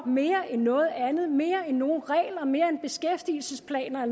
mere end noget andet mere end nogen regler mere end beskæftigelsesplaner